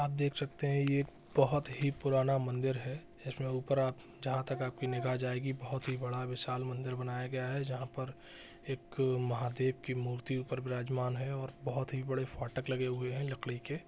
आप देख सकते हैं ये एक यह बहुत ही पुराना मंदिर है इसमें ऊपर जहाँ तक आपकी निगाह जाएगी बहुत ही विशाल बड़ा मंदिर मनाया गया है जहाँ पर एक अअअ महादेव की मूर्ति ऊपर विराजमान है और बहुत ही बड़े फाटक लगे लकड़ी हुए है के।